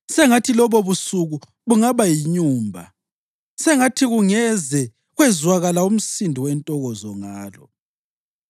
Sengathi lobobusuku bungaba yinyumba; sengathi kungeze kwezwakala umsindo wentokozo ngalo.